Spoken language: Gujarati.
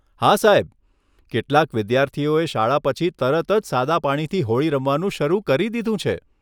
હા સાહેબ, કેટલાક વિદ્યાર્થીઓએ શાળા પછી તરત જ સાદા પાણીથી હોળી રમવાનું શરૂ કરી દીધું છે!